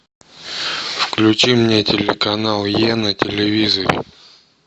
включи мне телеканал е на телевизоре